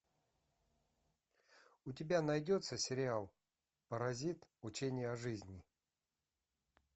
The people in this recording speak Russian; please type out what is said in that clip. у тебя найдется сериал паразит учение о жизни